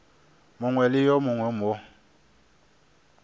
mongwe le yo mongwe mo